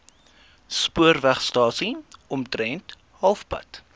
spoorwegstasie omtrent halfpad